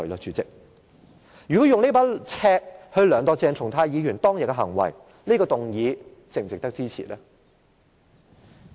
主席，如果以這把尺來量度鄭松泰議員當天的行為，這項譴責議案是否值得支持呢？